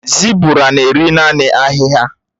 Zébụrà nà-èrí naanị ahịhịa.